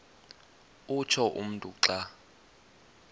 utsho umntu xa